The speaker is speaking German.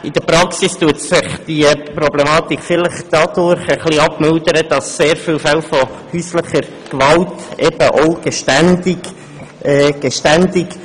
In der Praxis mildert sich diese Problematik vielleicht dadurch etwas ab, dass sehr viele Täter von häuslicher Gewalt geständig sind.